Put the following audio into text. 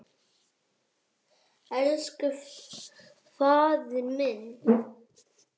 Elsku faðir minn.